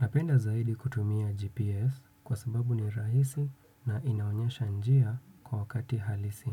Napenda zaidi kutumia GPS kwa sababu ni rahisi na inaonyesha njia kwa wakati halisi.